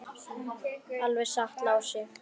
Alveg satt, Lási.